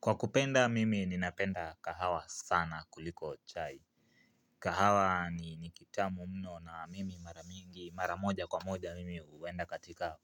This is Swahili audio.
Kwa kupenda mimi ninapenda kahawa sana kuliko chai. Kahawa ni ni kitamu mno na mimi mara mingi mara moja kwa moja mimi huenda katika